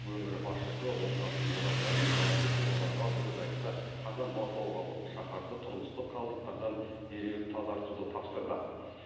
өңір басшысы оңдасын оразалин жауапты тұлғаларға бұл жайтты қатаң бақылауға алып шаһарды тұрмыстық қалдықтардан дереу тазартуды тапсырды